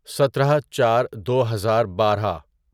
سترہ چار دوہزار بارہ